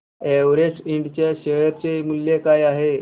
Everest Ind च्या share चे मूल्य काय आहे